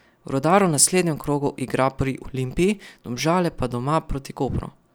Rudar v naslednjem krogu igra pri Olimpiji, Domžale pa doma proti Kopru.